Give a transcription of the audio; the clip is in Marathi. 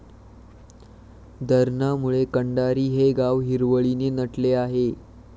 धरणामुळे कंडारी हे गाव हिरवळीने नटले आहे.